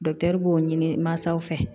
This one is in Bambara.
b'o ɲini mansaw fɛ